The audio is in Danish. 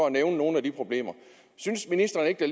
at nævne nogle af problemerne synes ministeren ikke at